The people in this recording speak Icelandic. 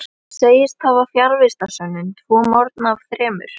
Hún segist hafa fjarvistarsönnun tvo morgna af þremur.